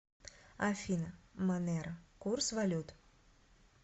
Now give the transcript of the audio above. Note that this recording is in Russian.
афина монеро курс валют